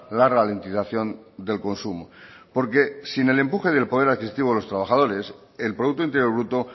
la ralentización del consumo porque sin el empuje del poder adquisitivo de los trabajadores el producto interior bruto